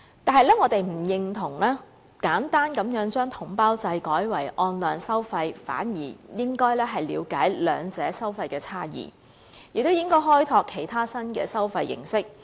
但是，我們不認同簡單地將統包制改為按量收費，反而應該了解兩者的收費差異，亦應該開拓其他新的收費形式。